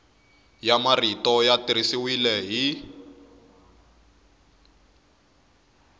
ya marito ya tirhisiwile hi